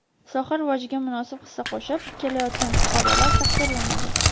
soha rivojiga munosib hissa qo‘shib kelayotgan fuqarolar taqdirlanadi.